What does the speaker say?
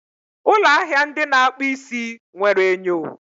ụlọ ahịa ndị na-akpụ isi nwere enyo